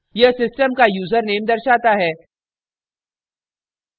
* यह system का username दर्शाता है